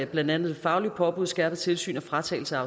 blandt andet fagligt påbud skærpet tilsyn og fratagelse